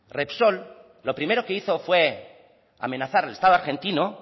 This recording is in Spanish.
repsol lo primero que hizo fue amenazar el estado argentino